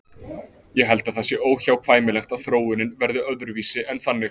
Ég held að það sé óhjákvæmilegt að þróunin verði öðruvísi en þannig.